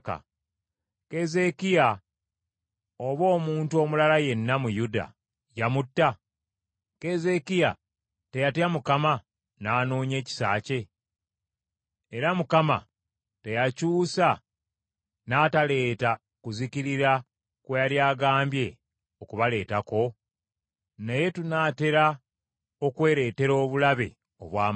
Keezeekiya oba omuntu omulala yenna mu Yuda, yamutta? Keezeekiya teyatya Mukama n’anoonya ekisa kye? Era Mukama teyakyusa n’ataleeta kuzikirira kwe yali agambye okubaleetako? Naye tunaatera okwereetera obulabe obw’amaanyi!”